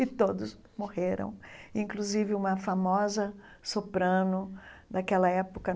E todos morreram, inclusive uma famosa soprano daquela época.